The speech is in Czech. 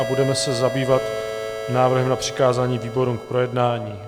A budeme se zabývat návrhem na přikázání výborům k projednání.